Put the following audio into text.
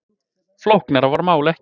Flóknara var málið ekki